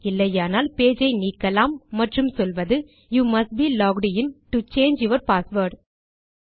இல்லையானால் பேஜ் ஐ நீக்கலாம் மற்றும் சொல்வது you must be logged in to change your password